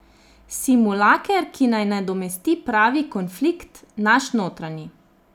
Simulaker, ki naj nadomesti pravi konflikt, naš notranji.